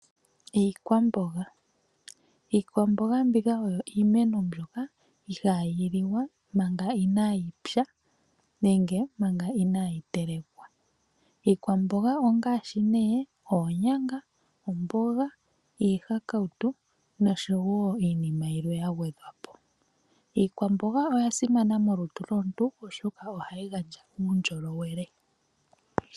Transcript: Iikwamboga. Iikwamboga oyo iimeno mbyoka ihaayi liwa manga inaayi pya nenge manga inaayi telekwa. Iikwamboga ongaashi nee oonyanga, omboga, iihakautu noshowo iinima yilwe ya gwedhwa po. Iikwamboga oya simana molutu lwomuntu oshoka ohayi gandja uundjolowele.